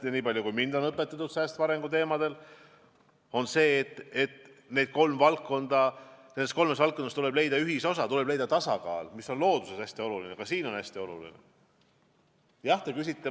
Ja nii palju on mind õpetatud säästva arengu teemadel, et ma tean, et nendes kolmes valdkonnas tuleb leida ühisosa, tuleb leida tasakaal, mis on looduses hästi oluline ja teistes valdkondades ka hästi oluline.